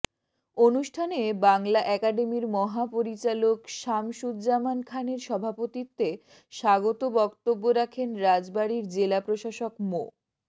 অনুষ্ঠানে বাংলা একাডেমির মহাপরিচালক শামসুজ্জামান খানের সভাপতিত্বে স্বাগত বক্তব্য রাখেন রাজবাড়ীর জেলা প্রশাসক মো